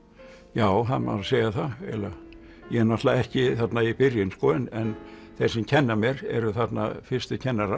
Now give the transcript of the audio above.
já það má nú segja það eiginlega ég er náttúrulega ekki þarna í byrjun en þeir sem kenna mér eru þarna fyrstu kennarar